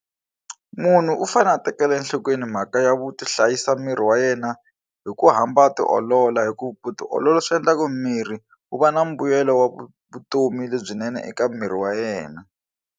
Munhu u fanele a tekela enhlokweni mhaka ya ku tihlayisa miri wa yena hi ku hamba a tiolola hi ku tiolola swi endlaku mirhi wu va na mbuyelo wa vutomi lebyinene eka miri wa yena.